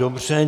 Dobře.